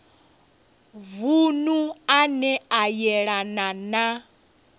vunu ane a yelana na